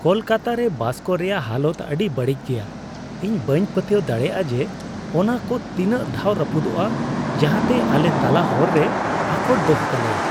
ᱠᱟᱞᱟᱠᱛᱚᱠᱛᱚ ᱨᱮ ᱵᱟᱥ ᱠᱚ ᱨᱮᱭᱟᱜ ᱦᱟᱞᱚᱛ ᱟᱹᱰᱤ ᱵᱟᱹᱲᱤᱡ ᱜᱮᱭᱟ ᱾ ᱤᱧ ᱵᱟᱹᱧ ᱯᱟᱹᱛᱭᱟᱹᱣ ᱫᱟᱲᱮᱭᱟᱜᱼᱟ ᱡᱮ, ᱚᱱᱟ ᱠᱚ ᱛᱤᱱᱟᱜ ᱫᱷᱟᱣ ᱨᱟᱹᱯᱩᱫᱚᱜᱼᱟ, ᱡᱟᱦᱟᱸᱛᱮ ᱟᱞᱮ ᱛᱟᱞᱟ ᱦᱚᱨ ᱨᱮᱭ ᱟᱠᱚᱴ ᱫᱚᱦᱚ ᱠᱟᱞᱮᱭᱟ ᱾